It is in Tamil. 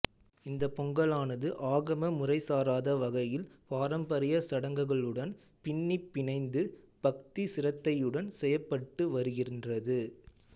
இந்தப் பொங்கலானது ஆகம முறைசாராத வகையில் பாரம்பரிய சடங்குகளுடன் பின்னிப் பிணைந்து பக்தி சிரத்தையுடன் செய்யப்பட்டு வருகின்றது